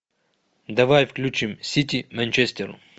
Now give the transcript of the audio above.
давай включим сити манчестер